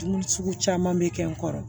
Dun sugu caman bɛ kɛ n kɔrɔ